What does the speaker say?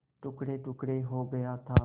टुकड़ेटुकड़े हो गया था